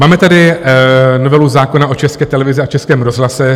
Máme tady novelu zákona o České televizi a Českém rozhlase (?).